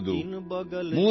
ನಮ್ಮ ದೇಶ ಶ್ರೇಷ್ಠವಾದುದು